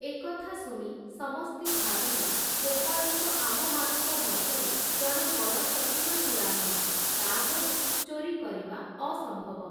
ଏ କଥା ଶୁଣି ସମସ୍ତେ ଭାବିଲେ ଗୋପାଳ ତ’ ଆମମାନଙ୍କ ମଧ୍ୟରେ ଜଣେ ବଡ଼ ଚତୁର ଚୂଡ଼ାମଣି, ତା’ ଘରୁ ଚୋରୀ କରିବା ଅସମ୍ଭବ ।